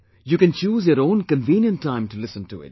You can choose your own convenient time to listen to it